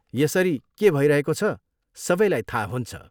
यसरी के भइरहेको छ सबैलाई थाहा हुन्छ।